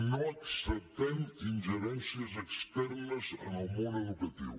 no acceptem ingerències externes en el món educatiu